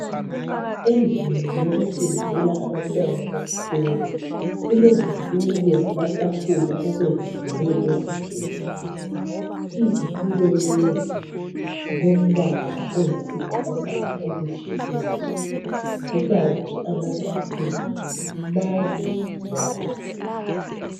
Endlini yokufundela abantwana besikolo kulezitulo lamatafula okwenziwe ngezigodo izitulo lezi zilombala oyisibhakabhaka ojiyileyo kukant amatafula madezanyana